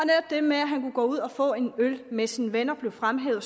det med at han kunne gå ud og få en øl med sine venner blev fremhævet og